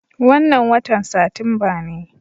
Wannan watan Satumba ne.